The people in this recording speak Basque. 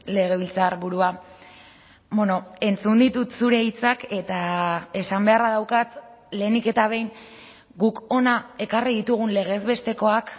legebiltzarburua entzun ditut zure hitzak eta esan beharra daukat lehenik eta behin guk hona ekarri ditugun legez bestekoak